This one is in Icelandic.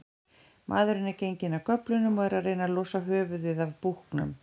Maðurinn er genginn af göflunum og er að reyna losa höfuðið af búknum.